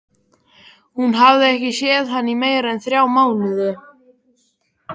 Hún hafði ekki séð hann í meira en þrjá mánuði.